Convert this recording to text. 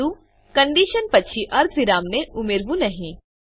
પરંતુ કંડીશન પછી અર્ધવિરામને ઉમેરવું નહી